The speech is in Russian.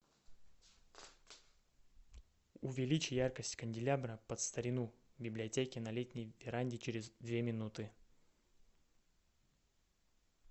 увеличь яркость канделябра под старину в библиотеке на летней веранде через две минуты